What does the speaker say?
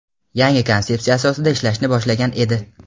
yangi konsepsiya asosida ishlashni boshlagan edi.